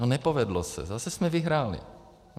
No nepovedlo se, zase jsme vyhráli!